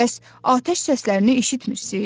Bəs, atəş səslərini eşitmirsiz?